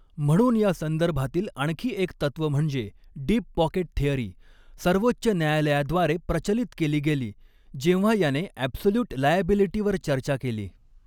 म्हणून या संदर्भातील आणखी एक तत्त्व म्हणजे डीप पॉकेट थेअरी सर्वोच्च न्यायालयाद्वारे प्रचलित केली गेली जेव्हा याने ॲब्सोल्युट लायॲबिलीटी वर चर्चा केली.